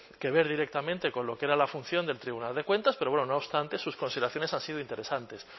que ver directamente con lo que era la función del tribunal de cuentas pero bueno no obstante sus consideraciones han sido interesantes